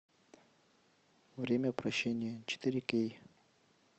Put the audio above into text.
время прощения четыре кей